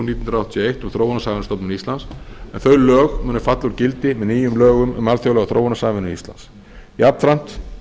hundruð áttatíu og eitt um þróunarsamvinnustofnun íslands en þau lög munu falla úr gildi með nýjum lögum um alþjóðlega þróunarsamvinnu íslands jafnframt